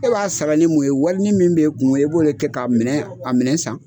E b'a sarali mun kɛ ye wari ni min bɛ kun e b'o de kɛ ka a minɛ san.